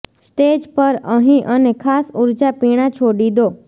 stage પર અહીં અને ખાસ ઊર્જા પીણાં છોડી દો